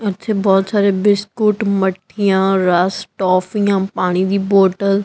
ਇਥੇ ਬਹੁਤ ਸਾਰੇ ਬਿਸਕੁਟ ਮੱਠੀਆਂ ਰਸ ਟੋਫੀਆਂ ਪਾਣੀ ਦੀ ਬੋਤਲ